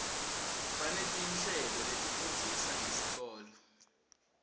baneti nhleloletifundzisa ngesikoto